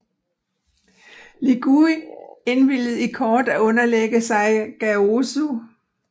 Li Gui indvilgede i kort at underlægge sig Gaozu